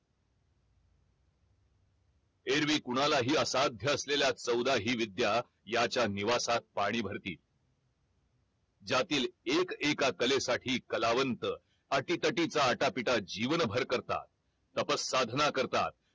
एरवी कोणालाही असाध्य असलेल्या चौदाही विद्या याच्या निवासात पाणी भरतील ज्यातील एक एका कलेसाठी कलावंत अटीतटीचा अटा पीटा जीवनभर करतात तप साधना करतात